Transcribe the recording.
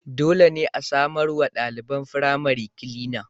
Dole ne a samarwa ɗaliban firamari kilina.